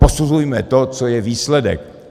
Posuzujme to, co je výsledek.